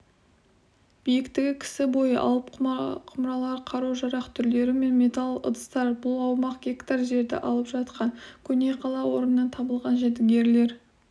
биіктігі кісі бойы алып құмыралар қару-жарақ түрлері мен металл ыдыстар бұл аумағы гектар жерді алып жатқан көне қала орнынан табылған жәдігерлер